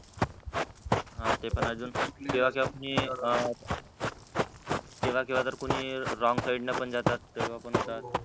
हा ते पण आहे अजून केव्हा केव्हा कुणी अं केव्हा हेव्हा तर कुणी wrong side न पण जातात तेव्हा पण होतात.